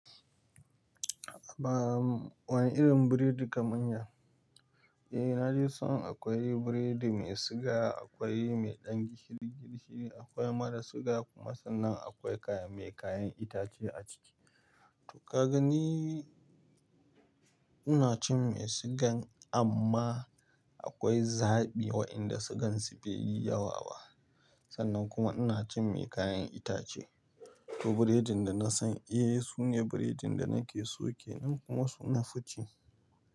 Ba, wana irin biredi kamar ya. Eh na dai san akwai biredi mai suga, akwai mai ɗan gishiri gishiri, akwai mara suga kuma sannan akwai kame, mai kayan itace a ciki. To kaga ni ina cin mai sigan amma akwai zaɓi waƴanda sugansu bai yi yawa ba. Sannan kuma ina cin mai kayan itace. To biredin da na san eh sune biredin da nake so kenan kuma su nafi ci.